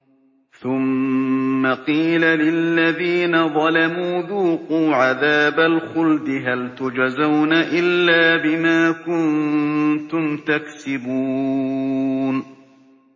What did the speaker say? ثُمَّ قِيلَ لِلَّذِينَ ظَلَمُوا ذُوقُوا عَذَابَ الْخُلْدِ هَلْ تُجْزَوْنَ إِلَّا بِمَا كُنتُمْ تَكْسِبُونَ